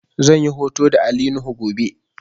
Zan yi hoto da Ali nuhu gobe